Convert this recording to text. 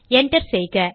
Enter செய்க